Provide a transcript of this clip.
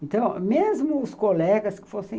Então, mesmo os colegas que fossem,